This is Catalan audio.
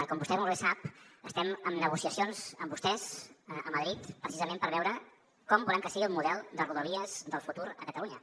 com vostè molt bé sap estem en negociacions amb vostès a madrid precisament per veure com volem que sigui el model de rodalies del futur a catalunya